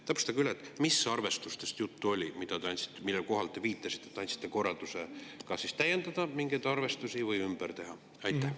Täpsustage, mis arvestustest juttu oli, millele te viitasite,, et te andsite korralduse kas täiendada mingeid arvestusi või ümber teha?